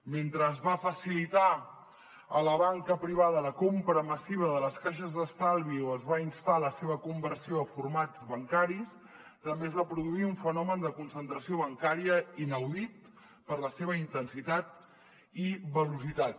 mentre es va facilitar a la banca privada la compra massiva de les caixes d’estalvi o es va instar a la seva conversió a formats bancaris també es va produir un fenomen de concentració bancària inaudit per la seva intensitat i velocitat